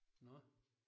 Nåh